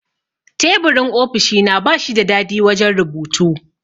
Teburin ofishina bashi da dadi wajan rubutu